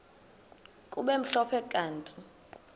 kube mhlophe kanti